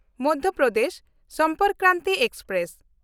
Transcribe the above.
Madhya Pradesh Sampark Kranti express